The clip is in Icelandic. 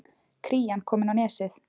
Krían komin á Nesið